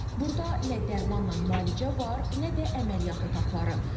Burda nə dərmanla müalicə var, nə də əməliyyat otaqları.